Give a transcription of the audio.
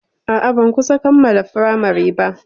A'a, ban kusan kammala firamari ba.